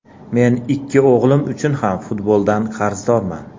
Men ikki o‘g‘lim uchun ham futboldan qarzdorman.